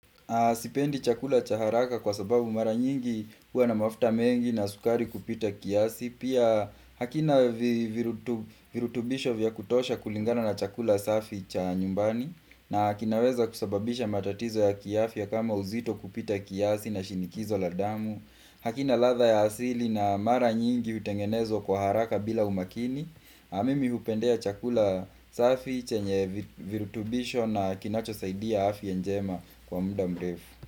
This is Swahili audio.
Sipendi chakula cha haraka kwa sababu mara nyingi kuwa na mafta mengi na sukari kupita kiasi, pia hakina virutubisho vya kutosha kulingana na chakula safi cha nyumbani na kinaweza kusababisha matatizo ya kiafya kama uzito kupita kiasi na shinikizo la damu. Hakina ladha ya asili na mara nyingi hutengenezwa kwa haraka bila umakini na mimi hupendea chakula safi chenye virutubisho na kinachosaidia afya njema kwa muda mrefu.